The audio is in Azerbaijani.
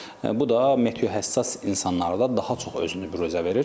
bu da meteohəssas insanlarda daha çox özünü büruzə verir.